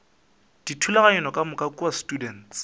dithulaganyo ka moka kua students